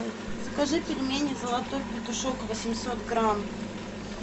закажи пельмени золотой петушок восемьсот грамм